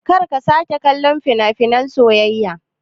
Karka sake kallon fina-finai na soyayya.